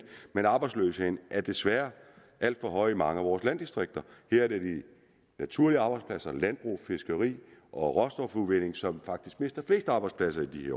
men arbejdsløsheden er desværre alt for høj i mange af vores landdistrikter her er det de naturlige arbejdspladser altså landbrug fiskeri og råstofudvinding som faktisk mister flest arbejdspladser i